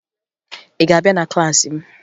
Ị ga-abịa na klaasị m!